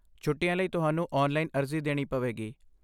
ਛੁੱਟੀਆਂ ਲਈ ਤੁਹਾਨੂੰ ਔਨਲਾਈਨ ਅਰਜ਼ੀ ਦੇਣੀ ਪਵੇਗੀ।